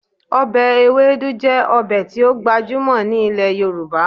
Ọbẹ Ewedu jẹ́ ọbẹ̀ tí ó gbajúmọ̀ ní ilẹ̀ Yorùbá